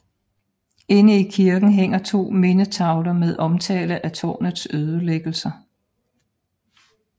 Inde i kirken hænger 2 mindetavler med omtale af tårnets ødelæggelser